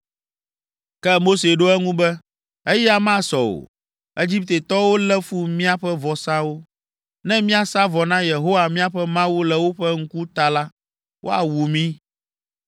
Ke Mose ɖo eŋu be, “Eya masɔ o! Egiptetɔwo lé fu míaƒe vɔsawo. Ne míasa vɔ na Yehowa míaƒe Mawu le woƒe ŋkuta la, woawu mí.